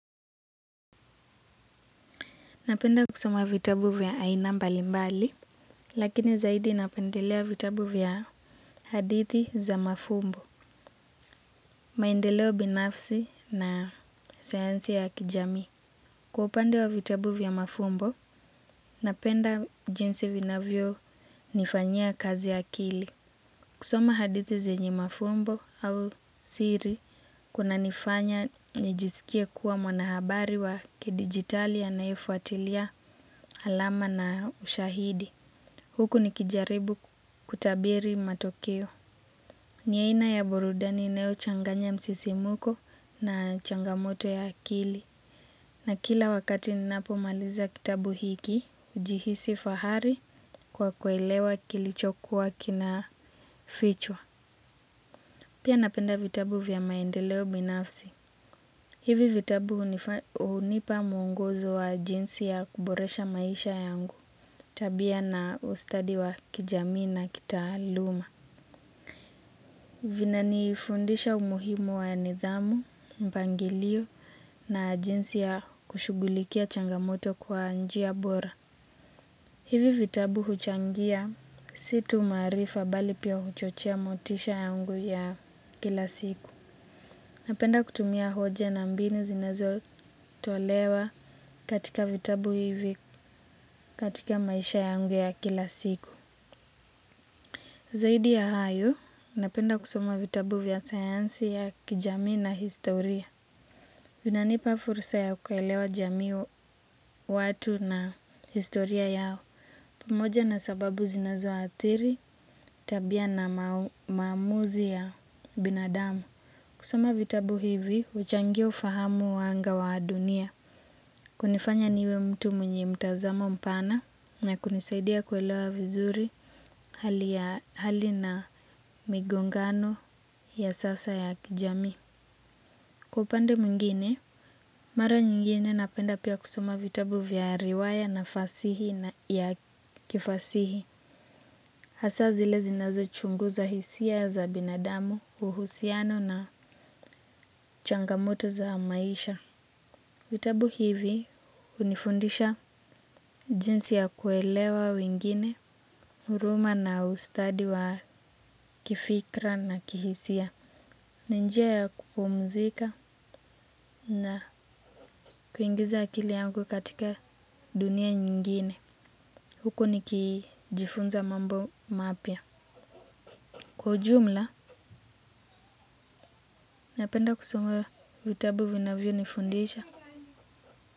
Napenda kusoma vitabu vya aina mbalimbali, lakini zaidi napendelea vitabu vya hadithi za mafumbo. Maendeleo binafsi na sayansi ya kijamii. Kwa upande wa vitabu vya mafumbo, napenda jinsi vinavyonifanyia kazi akili. Kusoma hadithi zenye mafumbo au siri, kunanifanya nijisikie kuwa mwanahabari wa kidijitali anayefuatilia alama na ushahidi. Huku nikijaribu kutabiri matokeo. Ni aina ya burudani inayochanganya msisimko na changamoto ya akili. Na kila wakati ninapomaliza kitabu hiki hujihisi fahari kwa kuelewa kilichokuwa kinafichwa. Pia napenda vitabu vya maendeleo binafsi. Hivi vitabu hunipa mwongozo wa jinsi ya kuboresha maisha yangu. Tabia na ustadi wa kijamii na kitaaluma. Vinanifundisha umuhimu wa nidhamu, mpangilio na jinsi ya kushughulikia changamoto kwa njia bora. Hivi vitabu huchangia si tu maarifa bali pia huchochea motisha yangu ya kila siku. Napenda kutumia hoja na mbinu zinazotolewa katika vitabu hivi katika maisha yangu ya kila siku. Zaidi ya hayo, napenda kusoma vitabu vya sayansi ya kijamii na historia. Vinanipa fursa ya kuelewa jamii watu na historia yao pamoja na sababu zinazoathiri tabia na maamuzi ya binadamu. Kusoma vitabu hivi huchangia ufahamu wangu wa dunia. Kunifanya niwe mtu mwenye mtazamo mpana na kunisaidia kuelewa vizuri hali na migongano ya sasa ya kijamii. Kwa upande mwingine, mara nyingine napenda pia kusoma vitabu vya riwaya na fasihi. Hasa zile zinazochunguza hisia za binadamu, uhusiano na changamoto za maisha. Vitabu hivi hunifundisha jinsi ya kuelewa wengine, huruma na ustadi wa kifikra na kihisia. Ni njia ya kupumzika na kuingiza akili yangu katika dunia nyingine. Huko nikijifunza mambo mapya. Kwa ujumla, napenda kusoma vitabu vinavyonifundisha.